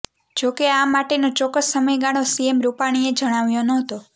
જો કે આ માટેનો ચોક્કસ સમયગાળો સીએમ રૂપાણીએ જણાવ્યો નહતો